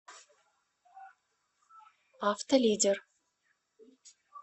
автолидер